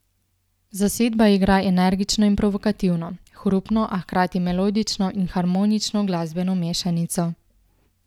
Zasedba igra energično in provokativno, hrupno, a hkrati melodično in harmonično glasbeno mešanico.